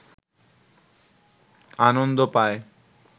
আনন্দ পায়